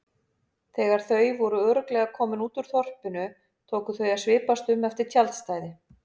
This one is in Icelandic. Þegar þau voru örugglega komin út úr þorpinu tóku þau að svipast um eftir tjaldstæði.